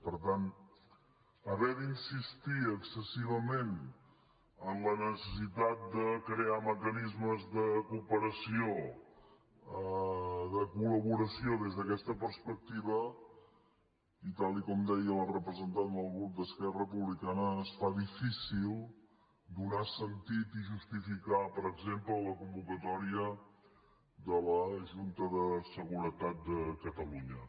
per tant haver d’insistir excessivament en la necessitat de crear mecanismes de cooperació de col·laboració des d’aquesta perspectiva i tal com deia la representant del grup d’esquerra republicana es fa difícil donar sentit i justificar per exemple la convocatòria de la junta de seguretat de catalunya